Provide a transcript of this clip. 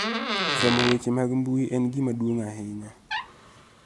Somo weche mag mbui en gima duong' ahinya